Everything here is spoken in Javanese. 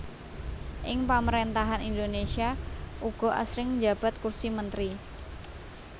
Ing Pamarèntahan Indonésia uga asring njabat kursi mentri